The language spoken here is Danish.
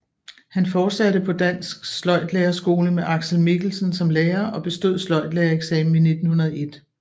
Han fortsatte på Dansk Sløjdlærerskole med Aksel Mikkelsen som lærer og bestod sløjdlærereksamen i 1901